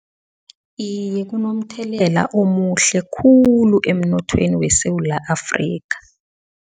Iye, kunomthelela omuhle khulu emnothweni weSewula Afrika.